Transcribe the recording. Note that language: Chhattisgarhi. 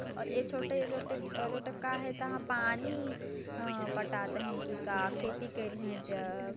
और ए छोटे छोटे गोटोक का हे तहां पानी पटाते है के का खेती करे है ज --